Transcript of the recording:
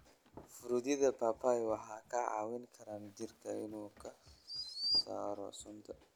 Fruityada papaya waxay ka caawin karaan jirka inuu ka saaro sunta.